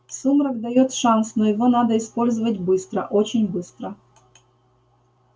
сумрак даёт шанс но его надо использовать быстро очень быстро